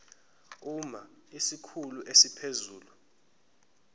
uma isikhulu esiphezulu